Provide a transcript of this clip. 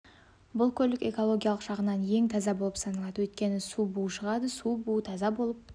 бұл көлік экологиялық жағынан ең таза болып саналады өйткені су буы шығады су буы таза болып